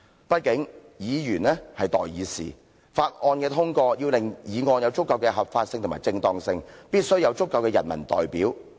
畢竟議員是代議士，法案的通過要令議案有足夠的合法性及正當性，必須有足夠的人民代表。